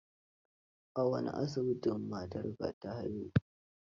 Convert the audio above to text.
A wane asibiti matarka za ta haihu?